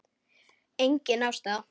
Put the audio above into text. Engin ástæða?